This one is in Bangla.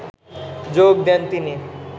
যোগ দেন তিনি